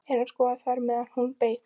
Eyrún skoðaði þær meðan hún beið.